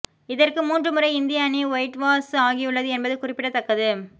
இதற்கு மூன்று முறை இந்திய அணி ஒயிட்வாஷ் ஆகியுள்ளது என்பது குறிப்பிடத்தக்கது